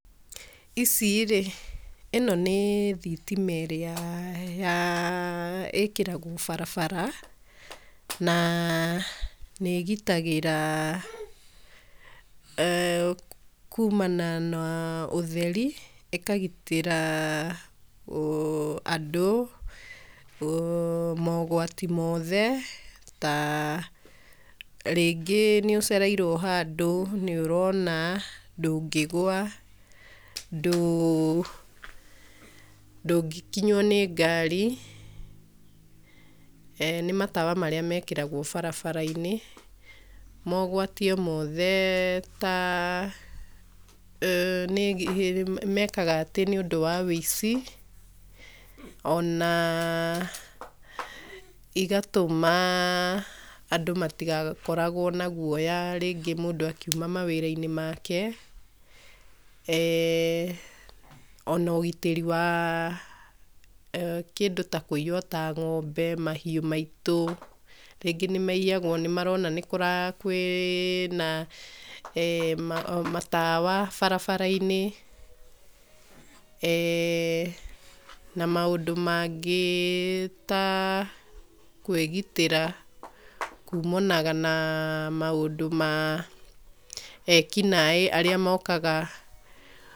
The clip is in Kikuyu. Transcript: Icirĩ ĩno nĩ thitima ĩrĩa [yaa] ĩkĩragwo barabara na nĩ ĩgitagĩra kũmana na ũtheri ĩkagĩtĩra aah andũ [uuh] maũgwati mothe ta rĩngĩ nĩũcereirwo handũ nĩ ũrona ndũngĩgwa ndũ ndũngĩkinywo nĩ ngari eeh nĩ matawa marĩa mekĩragwo barabara inĩ maũgwati o mothe ta [uuh] nĩmekaga atĩ nĩũmdũ wa wũici ona igatũma andũ matĩgakoragwo na gũoya rĩngĩ mũndũ akiũma mawira inĩ make [eeh]ona ũgitĩrĩ wa kũiywo ta ng'ombe mahiũ maitũ rĩngĩ nĩmaiyagwo nĩmarona nĩkũra kwĩ na eeh matawa barabara inĩ eeh na maũndũ maingĩ ma kwĩgitĩra kũmana na ekĩnaĩ arĩa mokaga .